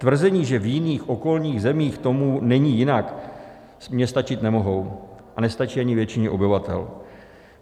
Tvrzení, že v jiných, okolních zemích tomu není jinak, mně stačit nemohou a nestačí ani většině obyvatel.